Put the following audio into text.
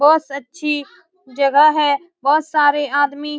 बस अच्छी जगह है बहुत सारे आदमी --